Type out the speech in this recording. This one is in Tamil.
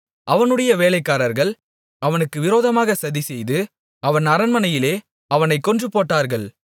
அவனுடைய வேலைக்காரர்கள் அவனுக்கு விரோதமாக சதிசெய்து அவன் அரண்மனையிலே அவனைக் கொன்று போட்டார்கள்